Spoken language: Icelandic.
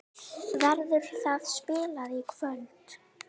Verður það spilað í kvöld?